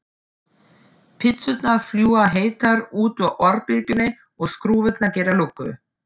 Pizzurnar fljúga heitar út úr örbylgjunni og skrúfurnar gera lukku.